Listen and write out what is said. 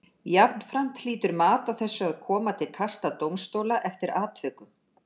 Jafnframt hlýtur mat á þessu að koma til kasta dómstóla eftir atvikum.